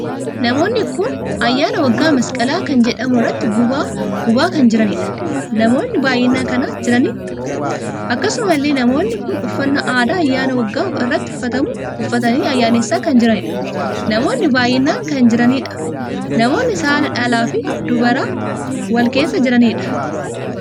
Namoonni kun ayyaana waggaa masqala kan jedhamu irratti gubaa gubaa kan jiraniidha. namoo baay'inaan kan jiraniidha. akkasumallee namoonni kun uffannaa aadaa ayyaana waggaa irratti uffatamu uffatanii ayyaanessaa kan jiraniidha. namoonni baay'inaan kan jiraniidha. namoonni saala dhalaaf dubaraan wal keessaa kan jiraniidha.